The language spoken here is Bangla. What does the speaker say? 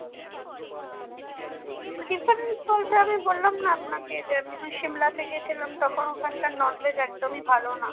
difference বলতে আমি বললাম না আপনাকে যে আমি যখন shimla গিয়েছিলাম তখন ওখানকার non veg একদমই ভালো না